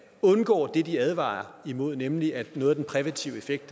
undgår det de advarer imod nemlig at noget af den præventive effekt